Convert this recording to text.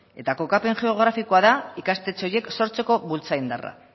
eta kokapen geografikoa da ikastetxe horiek sortzeko bultza indarra